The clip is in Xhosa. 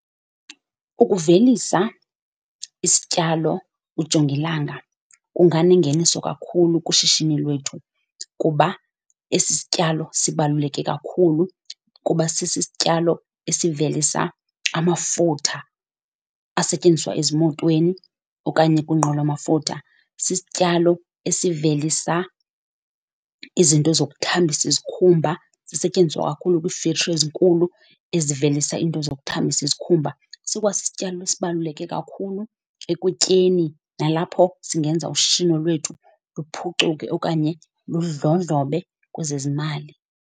Ukuvelisa isityalo ujongilanga kunganengeniso kakhulu kwishishini lwethu. Kuba esi sityalo sibaluleke kakhulu kuba sisityalo esivelisa amafutha asetyenziswa ezimotweni okanye kwiinqwelomafutha. Sisityalo esivelisa izinto zokuthambisa isikhumba, zisetyenziswa kakhulu kwii-factory ezinkulu ezivelisa into zokuthambisa isikhumba. Sikwasisityalo esibaluleke kakhulu ekutyeni nalapho singenza ushishino lwethu luphucuke okanye kwezezimali.